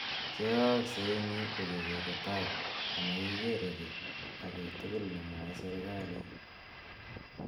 Che aakse ing yu ko kere tai amakere ki agei togol nemewae serikalit.